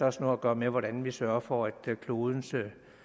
også noget at gøre med hvordan vi sørger for at klodens